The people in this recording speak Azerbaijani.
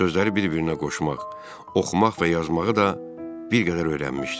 Sözləri bir-birinə qoşmaq, oxumaq və yazmağı da bir qədər öyrənmişdim.